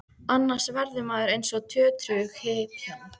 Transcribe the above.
Annars verður maður eins og tötrughypjan.